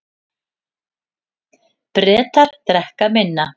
Bretar drekka minna